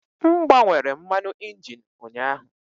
M gbanwere mmanụ injin ụnyaahụ.